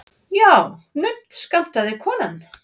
Já, naumt skammtaði konan.